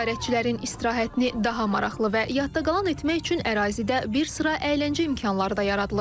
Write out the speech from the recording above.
Ziyarətçilərin istirahətini daha maraqlı və yaddaqalan etmək üçün ərazidə bir sıra əyləncə imkanları da yaradılıb.